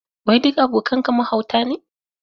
Wai duk abokanka mahauta ne?